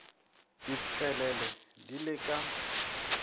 di tpwelele di le ka